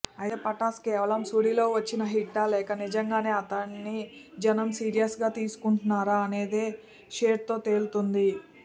అయితే పటాస్ కేవలం సుడిలో వచ్చిన హిట్టా లేక నిజంగానే అతడిని జనం సీరియస్గా తీసుకుంటున్నారా అనేది షేర్తో తేలుతుంది